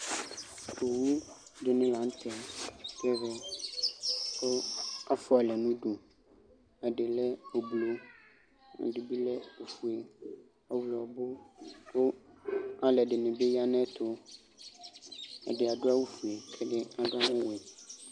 Owu dini la nu tɛ nu ɛvɛ ku afua alɛ nu udu ɛdi lɛ ublɔ ɛdibi lɛ ɔfue ɔɣlɔmɔ ku alu ɛdini bi ya nu ayɛtu ɛdi adu awu ɔfue ku ɛdibi adu awu ɔwɛ